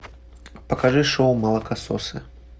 покажи шоу молокососы